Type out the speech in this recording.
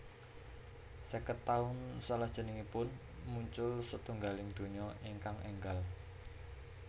Sèket taun salajengipun muncul setunggaling donya ingkang énggal